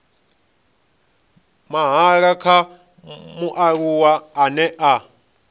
mahala kha mualuwa ane a